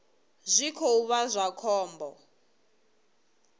zwi khou vha zwa khombo